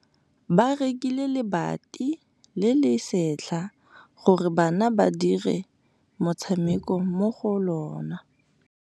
Ba rekile lebati le le setlha gore bana ba dire motshameko mo go lona.